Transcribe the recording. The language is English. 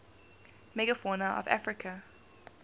megafauna of africa